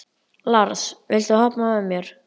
Lars, viltu hoppa með mér?